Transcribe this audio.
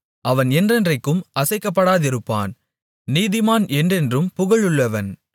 அவன் என்றென்றைக்கும் அசைக்கப்படாதிருப்பான் நீதிமான் என்றென்றும் புகழுள்ளவன்